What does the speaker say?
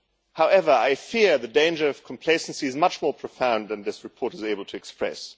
However, I fear the danger of complacency is much more profound than this report is able to express.